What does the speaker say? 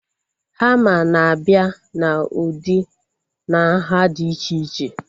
Hama na-abịa na ụdị na nhá dị iche iche